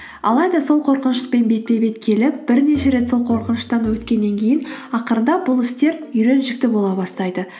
алайда сол қорқыныштықпен бетпе бет келіп бірнеше рет сол қорқыныштан өткеннен кейін ақырындап бұл істер үйреншікті бола бастайды